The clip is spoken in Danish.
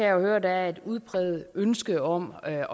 jo høre at der er et udpræget ønske om at